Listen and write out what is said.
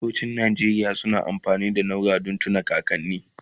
kafintocin Nigeria suna amfani da naura tun na kakanni